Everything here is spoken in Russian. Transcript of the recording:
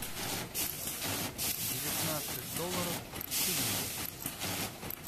девятнадцать долларов в шиллингах